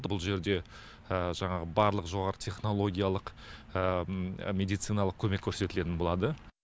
бұл жерде жаңағы барлық жоғары технологиялық медициналық көмек көрсетілетін болады